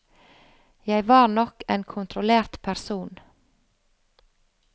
Jeg var nok en kontrollert person.